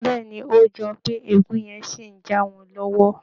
Bẹ́ẹ̀ ni, ó jọ pé ègún yẹn ṣì ń jà wọ́n lọ́wọ́